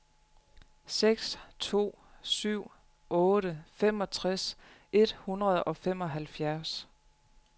seks to syv otte femogtres et hundrede og femoghalvfjerds